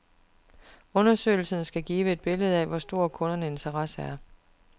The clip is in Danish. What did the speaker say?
Undersøgelsen skal give et billede af, hvor stor kundernes interesse er.